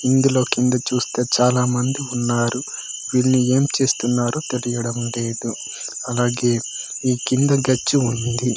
ఇందులో కింద చుస్తే చాలా మంది ఉన్నారు వీళ్ళు ఏంచేస్తున్నారో తెలియడం లేదు అలాగే ఇ కింద గచ్చి ఉంది.